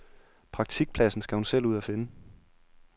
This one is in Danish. Praktikpladsen skal hun selv ud at finde.